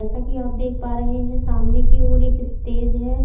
जैसा की आप देख पा रहे है सामने की और एक स्टेज है।